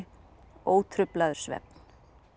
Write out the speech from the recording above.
ótruflaður svefn